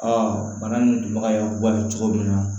bana ninbaga y'a bɔ a ye cogo min na